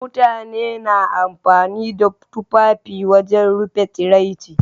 Mutane na amfani da tufafi wajen rufe tsaraici.